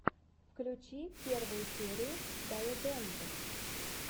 включи первую серию дайодэнд